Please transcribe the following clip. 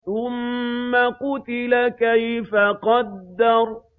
ثُمَّ قُتِلَ كَيْفَ قَدَّرَ